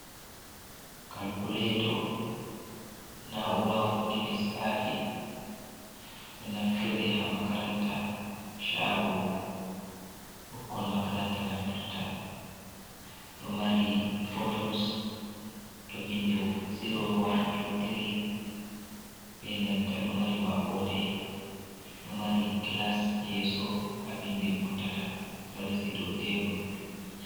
Kalkuleto, na urawa waɗuki lissafi, ɗo naftire ha makaranta shago, ɓukkon makaranta naftirta. Ɗo mari botuns ɗo vindi ziro, wan, tu, tiri be nanta ɗo mari maɓɓode, ɗo mari gilas yeeso ha vindi vurtata ɗo resi doo tebul.